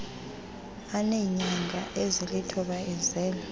eneenyanga ezilithoba ezelwe